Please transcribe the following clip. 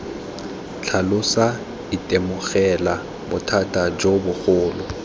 tlhalosa itemogela bothata jo bogolo